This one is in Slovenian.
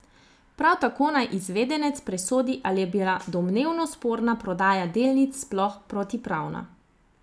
Prav tako naj izvedenec presodi, ali je bila domnevno sporna prodaja delnic sploh protipravna.